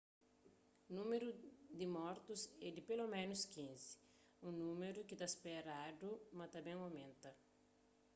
númeru di mortus é di peloménus 15 un númeru ki ta speradu ma ta ben omenta